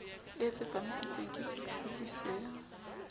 e tsepamisitsweng ke setsebi se